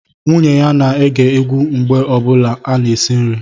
Nwunye ya na-ege egwu mgbe ọ bụla ọ na-esi nri